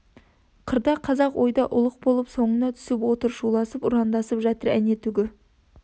қырда қазақ ойда ұлық болып соңыңа түсіп отыр шуласып ұрандасып жатыр әне түгі